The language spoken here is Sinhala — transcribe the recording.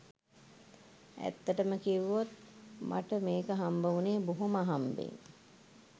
ඈත්තටම කිව්වොත් මට මේක හම්බවුණේ බොහොම අහම්බෙන්